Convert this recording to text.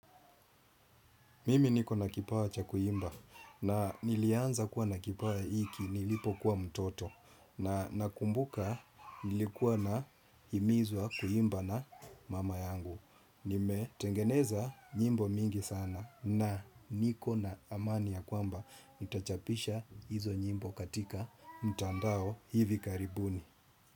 Mimi niko na kipawa cha kuimba na nilianza kuwa na kipawa iki nilipokuwa mtoto na nakumbuka nilikuwa naimizwa kuimba na mama yangu. Nimetengeneza nyimbo mingi sana na niko na amani ya kwamba nitachapisha hizo nyimbo katika mtandao hivi karibuni.